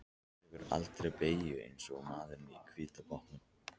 Þú tekur aldrei beygjur eins og maðurinn á hvíta bátnum.